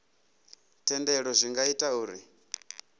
thendelo zwi nga ita uri